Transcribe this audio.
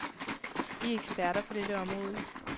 Vi er eksperter på dette område.